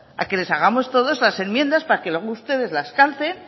a que les hagamos todo las enmiendas para que luego ustedes las calcen